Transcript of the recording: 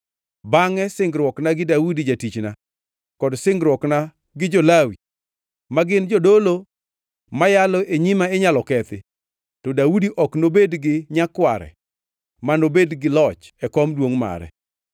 bangʼe singruokna gi Daudi jatichna kod singruokna gi jo-Lawi ma gin jodolo ma yalo e nyima inyalo kethi to Daudi ok nobed gi nyakware manobed gi loch e kom duongʼ mare.